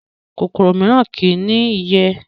kòkòrò mìíràn kí í ní ìyẹ́